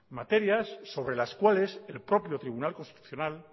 materias sobre las cuales el propio tribunal constitucional